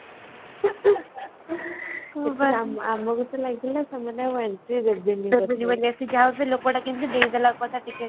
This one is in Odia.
ଆମକୁ ତ ଲାଗିଲା ସେମାନେ ଆଉ entry ଦେବେନି ବୋଲି